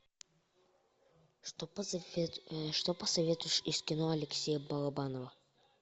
что посоветуешь из кино алексея балабанова